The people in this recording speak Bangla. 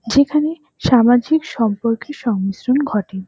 যেখানে সামাজিক সম্পর্কের সংমিশ্রণ ঘটে।